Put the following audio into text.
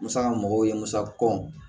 Musaka mɔgɔw ye musa kɔn